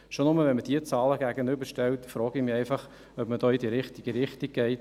Schon nur, wenn man diese Zahlen gegenüberstellt, frage ich mich, ob man da in die richtige Richtung geht.